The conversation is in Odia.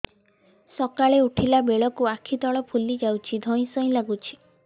ସକାଳେ ଉଠିଲା ବେଳକୁ ଆଖି ତଳ ଫୁଲି ଯାଉଛି ଧଇଁ ସଇଁ ଲାଗୁଚି